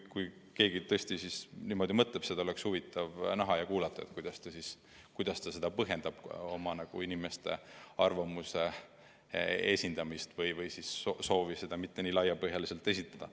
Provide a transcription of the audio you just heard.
Kui keegi tõesti niimoodi mõtleb, siis oleks huvitav näha ja kuulata, kuidas ta põhjendab seda, et ta ei soovi oma inimeste arvamust nii laiapõhjaliselt lasta esindada.